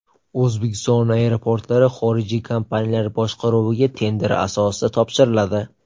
O‘zbekiston aeroportlari xorijiy kompaniyalar boshqaruviga tender asosida topshiriladi.